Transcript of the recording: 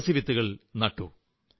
തുളസിച്ചെടികൾ നട്ടു